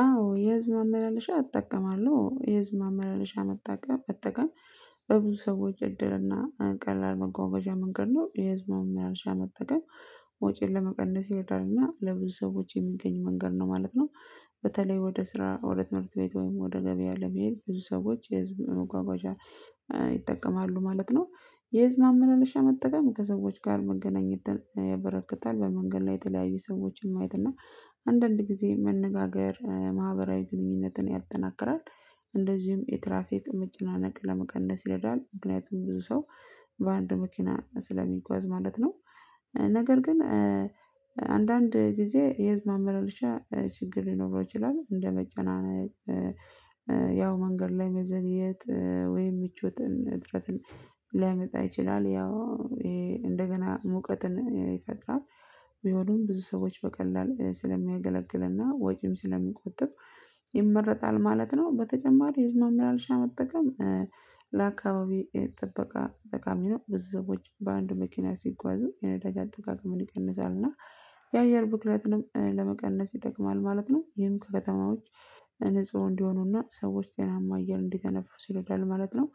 አዎ የህዝብ ማመላለሻ እጠቀማለሁ የህዝብ ማመላለሻ መጠቀም በብዙ ሰዎች እድልና ቀላል መጓጓዣ መንገድ ነው። የህዝብን ማመላለሻ መጠቀም ወጪን ለመቀነስ ይረዳልና ለብዙ ሰዎች የሚገኝ መንገድ ነው ማለት ነው። በተለይ ወደ ስራ ወደ ትምህርት ቤት ወይም ወደ ገበያ ለመሄድ ብዙ ሰዎች የህዝብ መጓጓዣ ይጠቀማሉ ማለት ነው። የህዝብ ማመላለሻ መጠቀም ከሰዎች ጋር መገናኘት ያበረክታል በመንገድ ላይ የተለያዩ ሰዎች ማየት እና አንዳንድ ጊዜ መነጋገር ማህበራዊ ግንኙነትን ያጠናክራል። እንደዚሁም የትራፊክ መጨናነቅምጭ ለመቀነስ ይረዳል ምክንያቱም ብዙ ሰው በአንድ መኪና ስለሚጓዝ ማለት ነው። ነገር ግን አንዳንድ ጊዜ የህዝብ ማመላለሻ ችግር ሊኖረው ይችላል እንደመጨናነቅ። ያው መንገድ ላይ መዘግየት ወይ ምቾትን እጥረትን ሊያመጣ ይችላል ያው እንደገና ሙቀትን ይፈጥራል። ቢሆኑም ብዙ ሰዎች በቀላሉ ስለሚያገለግልና ወጪም ስለሚቆጥብ ይመረጣል ማለት ነው። በተጨማሪ ህዝብ ማላለሻ መጠቀም ለአካባቢ ጥበቃ ጠቃሚ ነው። ብዙ ሰዎች በአንድ መኪና ሲጓዙ የነዳጅ አጠቃቀምን ይቀንሳል እና የአየር ብክለትንም ለመቀነስ ይጠቅማል ማለት ነው። ይህም ከከተማዎች ንጹህ እንዲሆኑና ሰዎች ጤናማ አየር እንዲተነፍሱ ይረዳል ማለት ነው።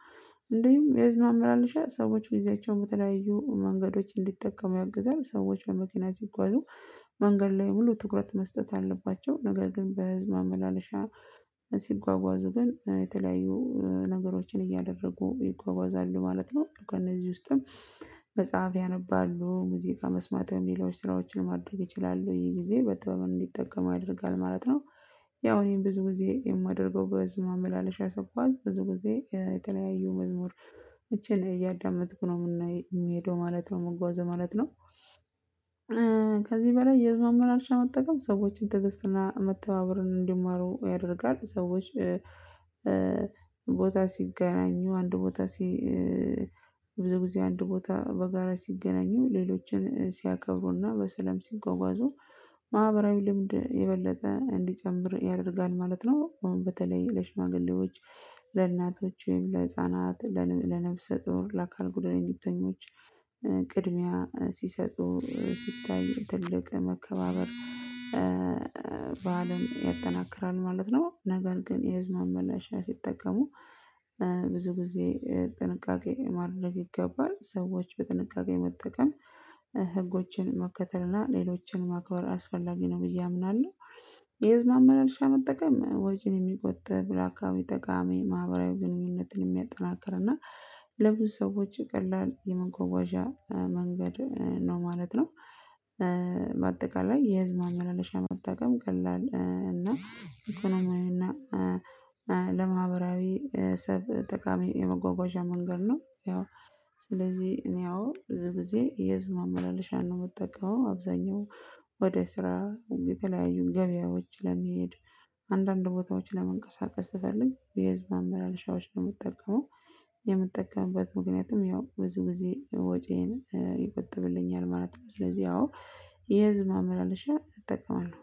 እንሁም የህዝብ ማመላለሻ ሰዎች ጊዜያቸውን በተለያዩ መንገዶች እንዲጠቀሙ ያግዛል ሰዎች በመኪና ሲጓዙ መንገድ ላይ ሙሉ ትኩረት መስጠት አለባቸው ነገር ግን በህዝብ መመላለሻ ሲጓጓዙ ግን የተለያዩ ነገሮችን እያደረጉ ይጓጓዛሉ ማለት ነው። ከእነዚህ ውስጥም መጽሐፍ ያነባሉ ሙዚቃ መስማት የሚለው ስራዎችን ማድረግ ይችላሉ ይሄ ጊዜ በጥበብ እንዲጠቀም ያደርጋል ማለት ነው። ያው እኔም ብዙ ጊዜ የማደርገው በዚህ ማመላለሻ ስጓዥስ ብዙ ጊዜ የተለያዩ መዝሙር እቺን እያዳመጥኩ ነው የምንሄደው ማለት ነው የምንጓዘው ማለት ነው። ከዚህ በላይ የህዝብ ማመላለሻ መጠቀም ሰዎችን ትግስትና መተባበርን እንዲማሩ ያደርጋል። ሰዎች ቦታ ሲገናኙ አንድ ቦታ ሲ ጊዜ አንድ ቦታ በጋራ ሲገናኙ ሌሎችን ሲያከብሩና በሰለም ሲጎጓጹ ማህበራዊ ልምድ የበለጠ እንዲጨምር ያደርጋል ማለት ነው። በተለይ ለሽማግሌዎች ለእናቶች ለህፃናት ለነፍሰ ጦር ለአካል ጉዳተኞች ቅድሚያ ሲሰጡ ሲታይ ትልቅ መከባበር በዓልም ያጠናክራል ማለት ነው። ነገር ግን የህዝብ ማመላለሻ ሲጠቀሙ ብዙ ጊዜ ጥንቃቄ ማድረግ ይገባል ሰዎች በጥንቃቄ መጠቀም ህጎችን መከተል እና ሌሎችን ማክበር አስፈላጊ ነው። ብዬ አምናለሁ። የህዝብ መመላለሻ መጠቀም ወጪን የሚቆጥብ ለ አካባቢ ጠቃሜ ማህበራዊ ግንኙነትን የሚያጠናክር እና ለምን ሰዎች ቀላል የመጓጓዣ መንገድ ነው ማለት ነው። በአጠቃላይ የህዝብ ማመላለሻ መጠቀም ቀላል እና እኢኮኖሚያዊና ለማህበራዊ ሰብ ጠቃሚ የመጓጓዣ መንገድ ነው። ያው ስለዚህ እኔ አዎ ብዙ ጊዜ የዝማማ ላለሻን ነው የምጠቀመው። አብዛኛው ወደ ስራ የተለያዩን ገበያዎች ለመሄድ አንዳንድ ቦታዎች ለመንቀሳቀስ እፈልግ የህዝብ ማመላለሻዎች ነው የምትጠቀመው? የምትጠቀምበት ምክንያቱም ያው ብዙ ጊዜ ወጪዬን ይቆጥብልኛል ማለት ነው። ስለዚህ ያው የህዝብ ማመላለሻ እጠቀማለሁ።